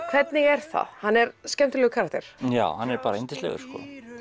hvernig er það hann er skemmtilegur karakter já hann er yndislegur